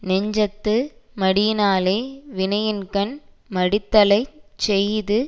நெஞ்சத்து மடியினாலே வினையின்கண் மடித்தலைச் செய்து